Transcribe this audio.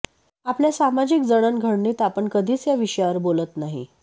आपल्या समाजिक जडण घडणीत आपण कधीच या विषयावर बोलत नाही